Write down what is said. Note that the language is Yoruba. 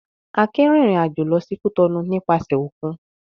Akin rìnrìn-àjò lọ sí Cotonou nípasẹ̀ òkun.